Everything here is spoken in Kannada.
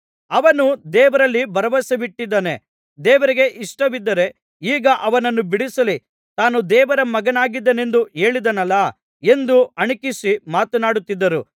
ಅವನು ದೇವರಲ್ಲಿ ಭರವಸವಿಟ್ಟಿದ್ದಾನೆ ದೇವರಿಗೆ ಇಷ್ಟವಿದ್ದರೆ ಈಗ ಅವನನ್ನು ಬಿಡಿಸಲಿ ತಾನು ದೇವರ ಮಗನಾಗಿದ್ದೇನೆಂದು ಹೇಳಿದನಲ್ಲಾ ಎಂದು ಅಣಕಿಸಿ ಮಾತನಾಡುತ್ತಿದ್ದರು